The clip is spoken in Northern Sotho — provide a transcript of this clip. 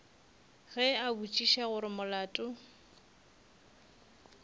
ge a botšiša gore molato